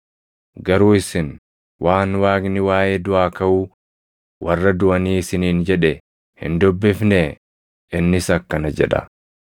Garuu isin waan Waaqni waaʼee duʼaa kaʼuu warra duʼanii isiniin jedhe hin dubbifnee? Innis akkana jedha;